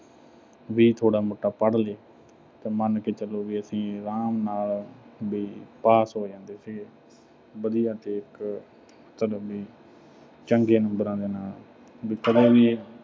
ਵੀ ਥੋੜ੍ਹਾ-ਮੋਟਾ ਪੜ੍ਹ ਲਏ ਤਾਂ ਮੰਨ ਕੇ ਚੱਲੇ ਵੀ ਅਸੀਂ ਆਰਾਮ ਨਾਲ ਵੀ pass ਹੋ ਜਾਂਦੇ ਸੀਗੇ। ਵਧੀਆ ਤੇ ਇੱਕ ਮਤਲਬ ਵੀ ਚੰਗੇ numbers ਦੇ ਨਾਲ। ਵੀ ਇਹ